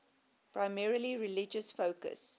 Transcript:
primarily religious focus